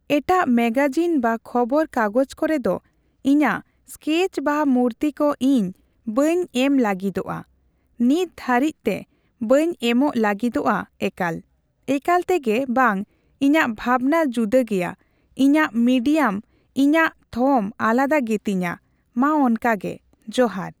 ᱮᱴᱟᱜ ᱢᱮᱜᱟᱡᱤᱱ ᱵᱟ ᱠᱷᱚᱵᱚᱨ ᱠᱟᱜᱚᱡ ᱠᱚᱨᱮᱫᱚ ᱤᱧᱟᱹᱜ ᱮᱥᱠᱮᱪ ᱵᱟ ᱢᱩᱨᱛᱤ ᱠᱚ ᱤᱧ ᱵᱟᱹᱧ ᱮᱢ ᱞᱟᱹᱜᱤᱫᱚᱜᱼᱟ ᱾ ᱱᱤᱛ ᱫᱷᱟᱹᱨᱤᱪᱛᱮ ᱵᱟᱹᱧ ᱮᱢᱚᱜ ᱞᱟᱹᱜᱤᱫᱚᱜᱼᱟ ᱮᱠᱟᱞ ᱾ᱮᱠᱟᱞ ᱛᱮᱜᱮ ᱵᱟᱝ ᱤᱧᱟᱹᱜ ᱵᱷᱟᱵᱽᱱᱟ ᱡᱩᱫᱟᱹ ᱜᱮᱭᱟ ᱤᱧᱟᱹᱜ ᱢᱤᱰᱤᱭᱟᱢ ᱤᱧᱟᱹᱜ ᱛᱷᱚᱢ ᱟᱞᱟᱫᱟ ᱜᱮᱛᱤᱧᱟ ᱢᱟ ᱚᱱᱠᱟᱜᱮ ᱡᱚᱦᱟᱨ ᱾